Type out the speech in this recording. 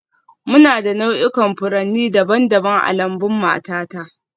Muna da nau'ikan furanni daban-daban a lambun matata